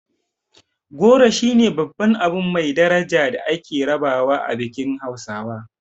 Goro shine babban abu mai daraja da ake rabawa a bikin hausawa.